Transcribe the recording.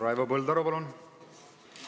Raivo Põldaru, palun!